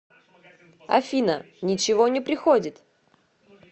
афина ничего не приходит